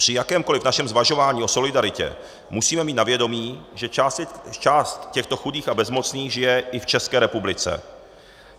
Při jakémkoli našem zvažování o solidaritě musíme mít na vědomí, že část těchto chudých a bezmocných žije i v České republice.